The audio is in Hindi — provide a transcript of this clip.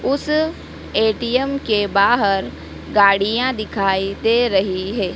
उस ए_टी_एम के बाहर गाड़ियां दिखाई दे रही है।